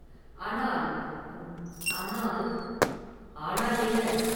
"ஆனால்... ம்….ஆனால்…” ஆனால் என்ன!